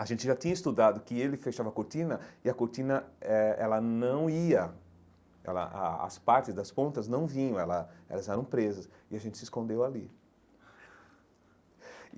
A gente já tinha estudado que ele fechava a cortina e a cortina eh ela não ia, ela a as partes das pontas não vinham, ela elas eram presas, e a gente se escondeu ali.